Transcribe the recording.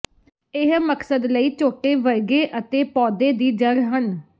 ਇਹ ਮਕਸਦ ਲਈ ਝੋਟੇ ਵਰਗੇ ਅਤੇ ਪੌਦੇ ਦੀ ਜੜ੍ਹ ਹਨ